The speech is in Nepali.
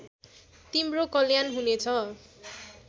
तिम्रो कल्याण हुनेछ